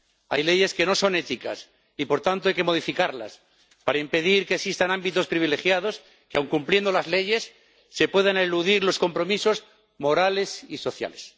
Hay leyes que no son éticas, y, por tanto, hay que modificarlas para impedir que existan ámbitos privilegiados que, aun cumpliendo las leyes, puedan eludir los compromisos morales y sociales.